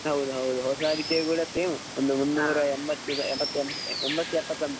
ಹೌದ್ ಹೌದು ಹೊಸ ಅಡಿಕೆ ಗೆ ಕೂಡ same ಉಂಟು ಒಂದು ಮುನ್ನೂರ ಎಂಬತ್ತು ಎಪ್ಪತ~ ಎಮ್~ ಎಂಬತ್ತು ಎಪ್ಪತ್ತು something ಉಂಟು.